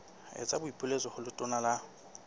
etsa boipiletso ho letona la